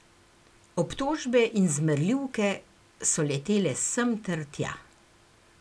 Obtožbe in zmerljivke so letele sem ter tja.